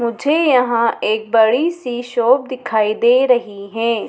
मुझे यहाँ एक बड़ी सी शॉप दिखाई दे रही है।